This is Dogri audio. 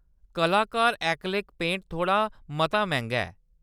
कलाकार ऐक्रेलिक पेंट थोह्‌ड़ा मता मैंह्‌‌गा ऐ।